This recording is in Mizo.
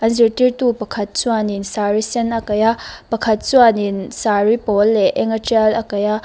an zirtirtu pakhat chuanin saree sen a kaih a pakhat chuanin saree pawl leh eng a tial a kaih a--